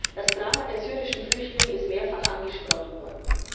Das Drama der syrischen Flüchtlinge ist mehrfach angesprochen worden.